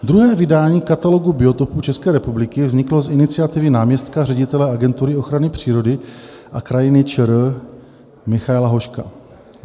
Druhé vydání katalogu biotopů České republiky vzniklo z iniciativy náměstka ředitele Agentury ochrany přírody a krajiny ČR Michaela Hoška.